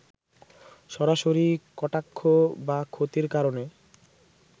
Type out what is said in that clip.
সরাসরি কটাক্ষ বা ক্ষতির কারণ